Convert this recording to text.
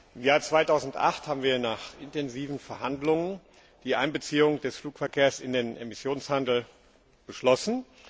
Im Jahr 2008 haben wir nach intensiven Verhandlungen die Einbeziehung des Flugverkehrs in den Emissionshandel beschlossen.